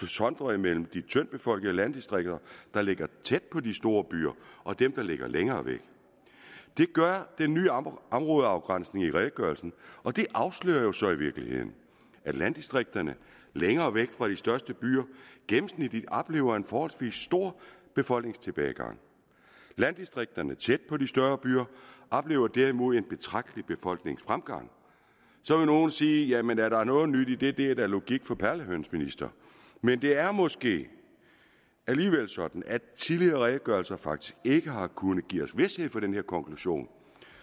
sondre mellem de tyndtbefolkede landdistrikter der ligger tæt på de store byer og dem der ligger længere væk det gør den nye områdeafgrænsning i redegørelsen og det afslører jo så i virkeligheden at landdistrikterne længere væk fra de største byer gennemsnitligt oplever en forholdsvis stor befolkningstilbagegang landdistrikterne tæt på de større byer oplever derimod en betragtelig befolkningsfremgang så vil nogle sige jamen er der noget nyt i det det er da logik for perlehøns minister men det er måske alligevel sådan at tidligere redegørelser faktisk ikke har kunnet give os vished for den her konklusion